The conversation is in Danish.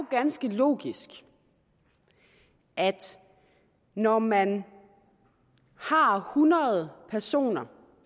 ganske logisk at når man har hundrede personer